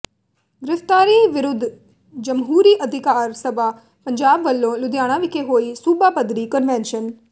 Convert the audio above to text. ਗ੍ਰਿਫਤਾਰੀ ਵਿਰੁੱਧ ਜਮਹੂਰੀ ਅਧਿਕਾਰ ਸਭਾ ਪੰਜਾਬ ਵੱਲੋਂ ਲੁਧਿਆਣਾ ਵਿਖੇ ਹੋਈ ਸੂਬਾ ਪੱਧਰੀ ਕਨਵੈਨਸ਼ਨ